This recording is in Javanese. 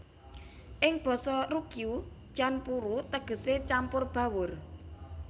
Ing basa Ryukyu chanpuru tegese campur bawur